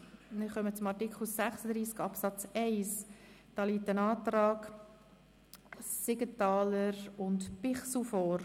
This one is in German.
Zu Artikel 36 Absatz 1 liegt ein Antrag Siegenthaler/Bichsel vor.